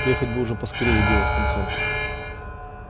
приехать бы уже поскорее и дело с концом